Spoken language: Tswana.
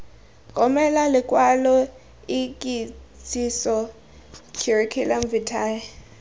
romele lokwalo ikitsiso curriculum vitae